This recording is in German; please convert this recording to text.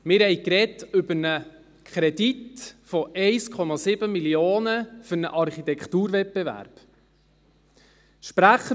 Wir haben über einen Kredit von 1,7 Mio. Franken für einen Architekturwettbewerb gesprochen;